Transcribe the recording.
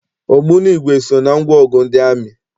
Ogbunigwe so na ngwaọgụ ndị amị.